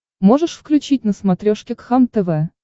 можешь включить на смотрешке кхлм тв